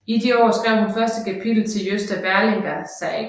I de år skrev hun første kapitel til Gösta Berlings Saga